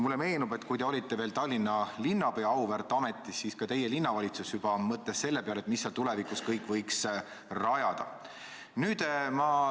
Mulle meenub, et kui te olite veel Tallinna linnapea auväärt ametis, siis ka teie linnavalitsus juba mõtles selle peale, mida kõike sinna tulevikus võiks rajada.